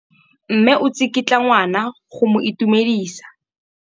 Mme o tsikitla ngwana go mo itumedisa.